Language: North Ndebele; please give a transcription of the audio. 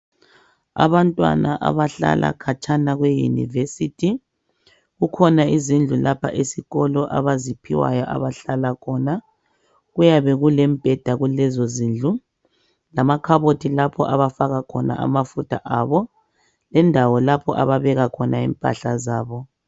Abantwana abahlala khatshana le university kukhona indawo lapha esikolo abazinikwayo abahlala khona kuyabe kulemibheda kulezo zindlu lamakhabothi lapha abafaka khona amafutha abo lendawo lapha ababeka khona impahla zabo